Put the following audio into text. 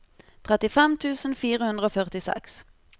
trettifem tusen fire hundre og førtiseks